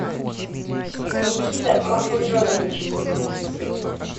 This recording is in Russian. никита махмуджонович